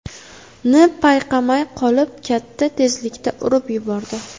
ni payqamay qolib, katta tezlikda urib yubordi.